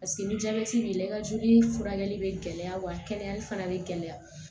paseke ni jabɛti b'i la i ka joli furakɛli be gɛlɛya wa kɛnɛyali fana be gɛlɛya